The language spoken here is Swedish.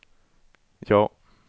ja